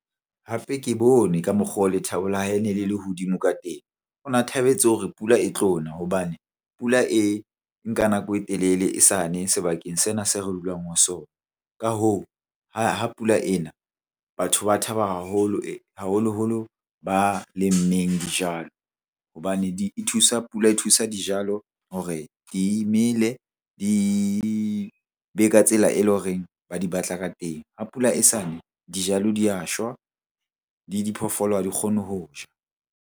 Hape ke bone ka mokgwa o lethabo la hae e ne le le hodimo ka teng. O na thabetse hore pula e tlo na hobane pula e nka nako e telele e sa ne sebakeng sena se re dulang ho sona. Ka hoo, ha pula e na batho ba thaba haholoholo ba lemmeng dijalo hobane di thusa, pula e thusa dijalo hore di mele, di be ka tsela e leng horeng ba di batla ka teng. Ha pula e sa ne dijalo di ya shwa, di diphoofolo ha di kgone ho ja.